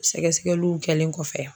Sɛgɛsɛgɛliw kɛlen kɔfɛ.